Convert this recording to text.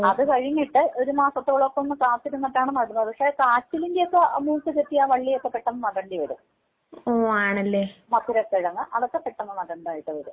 അത് കഴിഞ്ഞിട്ട് ഒരു മാസത്തോളം ഒന്ന് കാത്തിരുന്നിട്ടാണ് നടുന്നത് പക്ഷെ കാച്ചിലിന്റെ ഒക്കെ ആ മൂപ്പ് തട്ടി ആ വള്ളിയൊക്കെ പെട്ടെന്ന് നടണ്ടി വരും. മധുര കിഴങ്ങ് അതൊക്കെ പെട്ടെന്ന് നടണ്ടതായിട്ട് വരും.